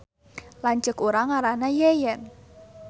Lanceuk urang ngaranna Yeyen